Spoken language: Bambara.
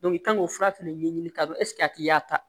i kan k'o fura fɛnɛ ɲɛɲini k'a dɔn ɛseke a tigi y'a ta